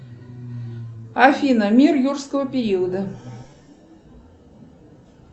афина мир юрского периода